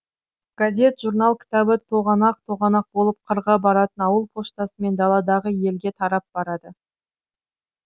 газет журнал кітабы тоғанақ тоғанақ болып қырға баратын ауыл поштасымен даладағы елге тарап барады